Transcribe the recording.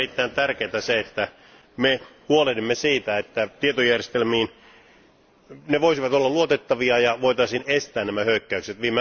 On erittäin tärkeää se, että me huolehdimme siitä, että tietojärjestelmät voisivat olla luotettavia ja voitaisiin estää nämä hyökkäykset.